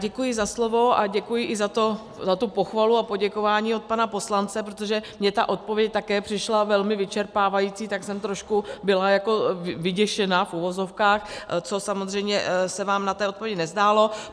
Děkuji za slovo a děkuji i za tu pochvalu a poděkování od pana poslance, protože mně ta odpověď také přišla velmi vyčerpávající, tak jsem trošku byla jako vyděšená, v uvozovkách, co samozřejmě se vám na té odpovědi nezdálo.